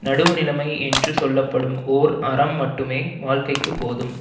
நடுவுநிலைமை என்று சொல்ல படும் ஓர் அறம் மட்டுமே வாழ்க்கைக்குப் போதும்